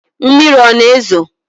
Mmiri ọ na-ezo?